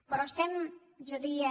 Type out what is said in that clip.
però estem jo diria